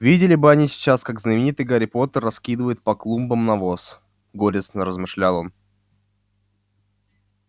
видели бы они сейчас как знаменитый гарри поттер раскидывает по клумбам навоз горестно размышлял он